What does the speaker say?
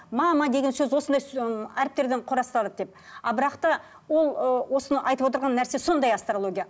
мама деген сөз осындай ммм әріптерден құрастырылады деп а бірақ та ол ы осыны айтып отырған нәрсе сондай астрология